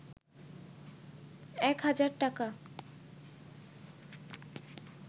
এক হাজার টাকা